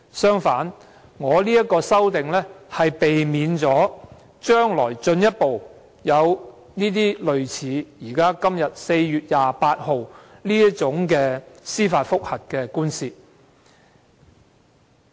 相反，我的修正案旨在避免將來會進一步出現類似在4月28日頒布判詞的這類司法覆核訴訟。